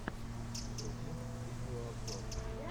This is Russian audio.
вруби видео обзор